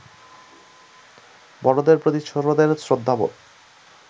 বড়দের প্রতি ছোটদের শ্রদ্ধাবোধ